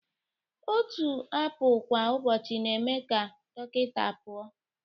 Otu apụl kwa ụbọchị na-eme ka dọkịta pụọ